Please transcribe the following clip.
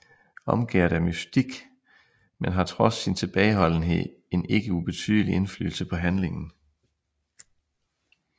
Omgærdet af mystik men har trods sin tilbageholdenhed en ikke ubetydelig indflydelse på handlingen